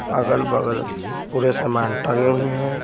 अगल-बगल पूरे सामान टंगे हुए हैं ।